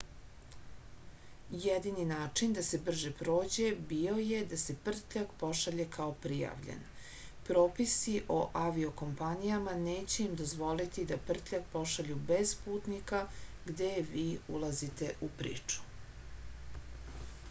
jedini način da se brže prođe bio je da se prtljag pošalje kao prijavljen propisi o avio-kompanijama neće im dozvoliti da prtljag pošalju bez putnika gde vi ulazite u priču